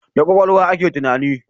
Da kwakwalwa ake tunani